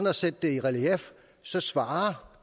at sætte det i relief svarer